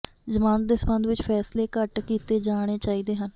ਜ਼ਮਾਨਤ ਦੇ ਸੰਬੰਧ ਵਿਚ ਫ਼ੈਸਲੇ ਘੱਟ ਕੀਤੇ ਜਾਣੇ ਚਾਹੀਦੇ ਹਨ